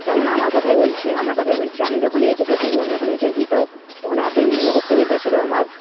যেমন আমার কথাই বলছি আমার কথাই বলছি আমি যখন HS এ পড়ি আমি যখন এইচএস দিই তো তখন এতই মুখস্থবিদ্যা ছিল আমার,